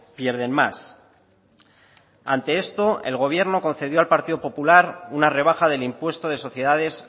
pierden más ante esto el gobierno concedió al partido popular una rebaja del impuesto de sociedades